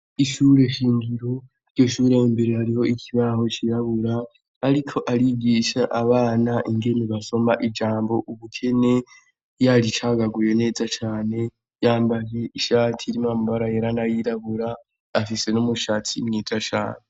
Ishure shingiro, iryo shure imbere hari ikibaho c'irabura, ariko arigisha abana ingene basoma ijambo ubukene, yaricagaguye neza cane, yambaye ishati irimwo amabara yera n'ayirabura, afise n'umushatsi mwiza cane.